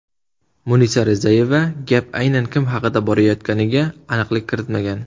Munisa Rizayeva gap aynan kim haqida borayotganiga aniqlik kiritmagan.